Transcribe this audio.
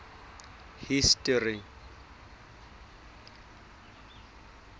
history